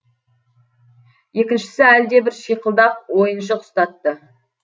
екіншісі әлдебір шиқылдақ ойыншық ұстатты